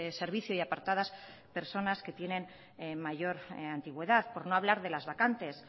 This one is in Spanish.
servicio y apartadas personas que tienen mayor antigüedad por no hablar de las vacantes